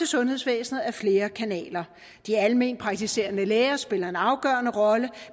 sundhedsvæsenet ad flere kanaler de alment praktiserende læger spiller en afgørende rolle